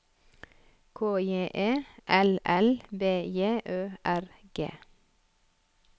K J E L L B J Ø R G